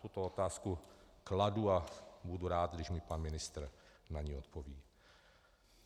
Tuto otázku kladu a budu rád, když mi pan ministr na ni odpoví.